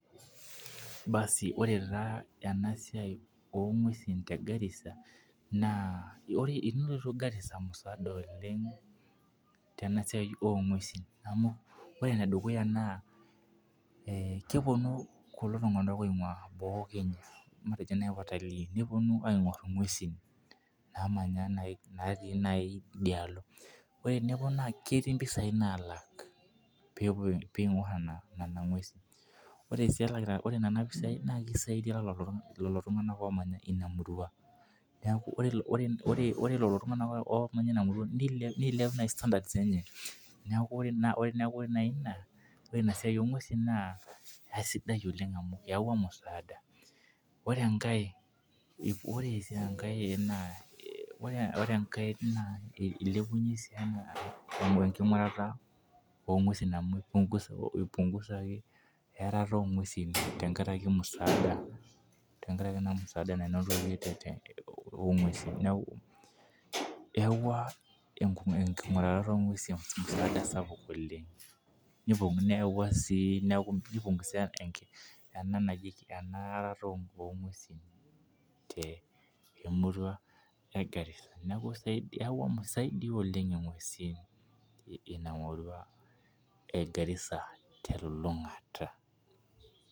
Baasi orrme taa ena siai oo ng'uesin te Garissa naa tenilotu naa Garisaa tenasiai oo ng'uesin amu ore ene dukuyaa naa kepuonu kulo tung'ana oingua boo ee Kenya matejo naji watalij nepuonu aingor ing'uesin naamanya naji naati idialo. Nepuonu naji etii impisai naatii idialo nalak pee ing'or nena ng'uesin ore sii nena pisia naa kisaidia lelo tung'ana omanya ina murua. Neeku ore lelo tung'ana omanya ina murua neilep naji standards enye neeku ore naji ina siai oo ng'uesin naa kisidai oleng' amu eyaua musaada. Ore enkae ore sii enkae ore enkae naa ilepepunye sii enkingurata oo ng'uesin amu ipunkusaki eyarato oo ng'uesin tenkarakij musaada tenkarakiii naa musada nanotoki oo ng'uesin neeku eyau enkinguratoo oo ng'uesin gharama sapuk oleng' neyaua sii neekuu nipungusae eyaratoo oo ng'uesin te murau ee Garissa neeku isidai eyau imasaa kumok oleng' ing'uesin ina murua ee Garissa telolongata.